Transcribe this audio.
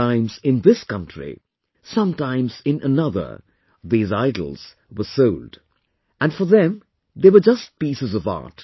Sometimes in this country, at times in another, these idols were sold... and for them they were just pieces of art